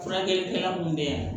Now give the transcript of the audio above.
Furakɛlikɛla mun bɛ yan